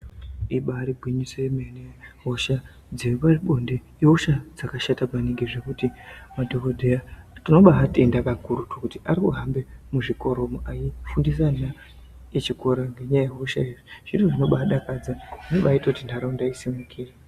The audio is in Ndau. Ibari gwinyiso yemene hosha dzepabonde ihosha dzakashata maningi zvekuti madhokodheya tinobaatenda kakurutu kuti ari kuhambe muzvikoramwo eifundise ana echikora ngenyaya yehoshayo zviro zvinobaadakadza anobaite kuti ntaraunda isimukire.